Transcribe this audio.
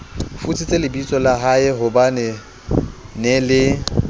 futsitse lebitsola haehobanee nee le